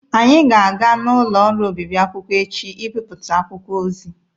Anyị ga-aga n'ụlọ ọrụ obịbị akwụkwọ echi ịbịpụta akwụkwọ ozi.